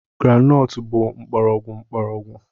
Groundnut bụ mgbọrọgwụ mgbọrọgwụ.